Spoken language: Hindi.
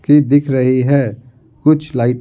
की दिख रही है कुछ लाइट --